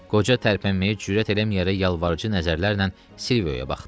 Qoca tərpənməyə cürət eləməyərək yalvarıcı nəzərlərlə Silviona baxdı.